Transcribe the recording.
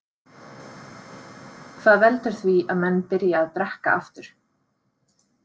Hvað veldur því að menn byrja að drekka aftur?